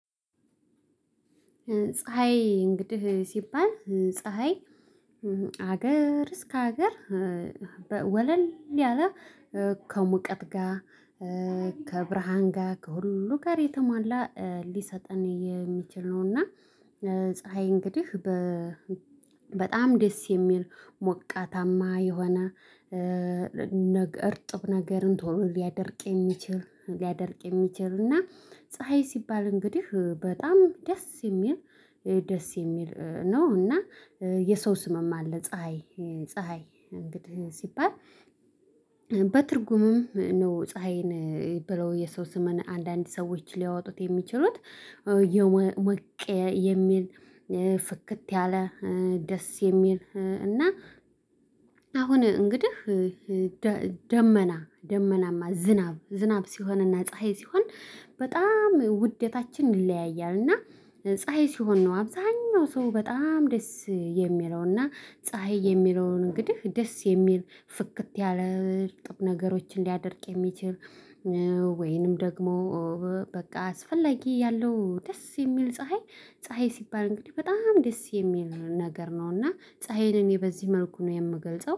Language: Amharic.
ፀሀይ እንግዲህ ሲባል ፀሀይ ከሀገር እስከ ሀገር ወለል ያለ ከሙቀት ጋር ከብርሃን ጋር ከሁሉ ጋር የተሟላ ሊሰጠን የሚችል ነው። እና ፀሀይ እንግዲህ በ በጣም ደስ የሚል ሞቃታማ የሆነ እርጥብ ነገርን ቶሎ ሊያደርቅ የሚችል ሊያደርቅ የሚችል እና ፀሀይ ሲባል እንግዲህ በጣም ደስ የሚል ደስ የሚል ነው። እና የሰው ስምም አለ። ፀሀይ ፀሀይ እንግዲህ ሲባል በትርጉምም ነው ፀሀይን የሚባለው የሰው ስምን አንዳንድ ሰዎች ሊያወጡት የሚችሉት። ሰውዬው ሞቅ የሚል ፍክት ያለ ደስ የሚል እና። አሁን እንግዲህ። ደመና ደመናማ ዝናብ ዝናብ ሲሆንና ፀሀይ ሲሆን በጣም ውዴታችን ይለያያልና ፀሀይ ሲሆን ነው አብዛኛው ሰው በጣም ደስ የሚለውና ፀሀይ የሚለውን እንግዲህ ደስ የሚል ፍክት ያለ እርጥብ ነገሮችን ሊያደርቅ የሚችል። ወይንም ደግሞ በቃ አስፈላጊ ያለው ደስ የሚል ፀሀይ። ፀሀይ ሲባል እንግዲህ በጣም ደስ የሚል ነገር ነው። እና ፀሀይን እኔ በዚህ መልኩ ነው የምገልጸው